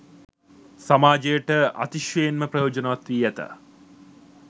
සමාජයට අතිශයින් ම ප්‍රයෝජනවත් වී ඇත.